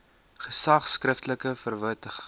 gesag skriftelik verwittig